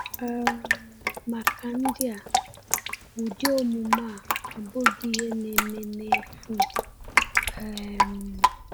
um Maka ndị a, ụdị omume a abụghị ihe na-eme n’efu. um